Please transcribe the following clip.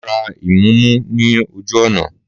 Màá ra ìmúmu ní ojú ọ̀nà